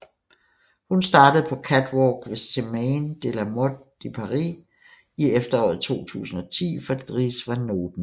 Hun startede på catwalk ved Semaine de la mode de Paris i efteråret 2010 for Dries Van Noten